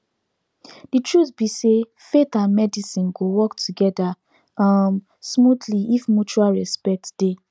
the truth be sayfaith and medicine go work together um smoothly if mutual respect dey